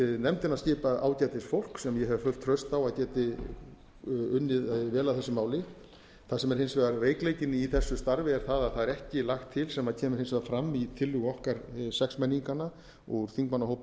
nefndina skipar ágætis fólk sem ég hef fullt traust á að geti unnið vel að þessu máli það sem er hins vegar veikleikinn í þessu starfi er það að það er ekki lagt til sem kemur hins vegar fram í tillögu okkar sexmenninganna úr þingmannahópi